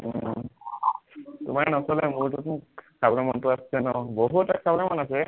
উম তোমাৰ নচলে, মোৰতোচোন খাবলে মনটো আছে ন, বহুতটা খাবলে মন আছে